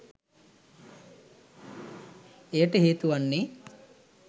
එයට හේතු වන්නේ